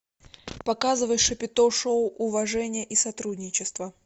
показывай шапито шоу уважение и сотрудничество